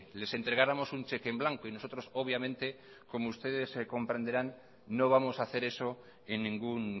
les entregáramos un cheque en blanco y nosotros obviamente como ustedes comprenderán no vamos a hacer eso en ningún